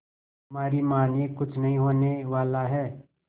हमारी मानिए कुछ नहीं होने वाला है